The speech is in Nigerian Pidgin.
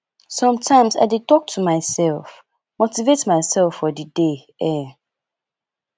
sometimes i dey talk to myself motivate myself for the day um